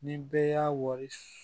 Ni bɛɛ y'a wari su